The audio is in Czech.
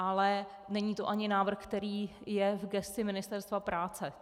Ale není to ani návrh, který je v gesci Ministerstva práce.